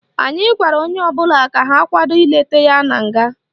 Anyị gwara onye ọbụla ka ha kwado ileta ya na nga